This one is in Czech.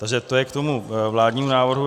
Takže to je k tomu vládnímu návrhu.